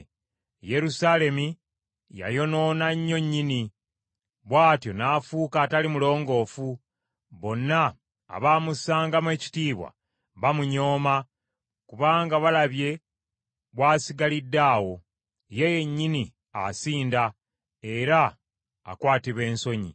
Yerusaalemi yayonoona nnyo nnyini, bw’atyo n’afuuka atali mulongoofu. Bonna abaamussangamu ekitiibwa bamunyooma, kubanga balabye bw’asigalidde awo; ye yennyini asinda, era akwatibwa ensonyi.